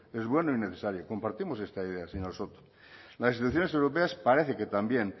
es bueno y necesario compartimos esta idea señor soto las instituciones europeas parece que también